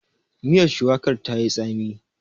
Miyar shuwakar ta yi tsami.